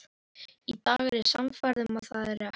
Í dag er ég sannfærð um að það er rétt.